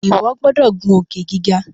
iwọ gbódò ngun Òkè-gíga!